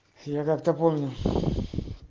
я как-то помню